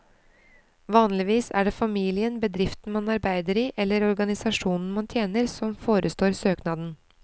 Vanligvis er det familien, bedriften man arbeider i eller organisasjonen man tjener, som forestår søknaden.